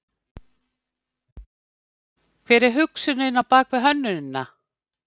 Hver er hugsunin á bakvið hönnunina?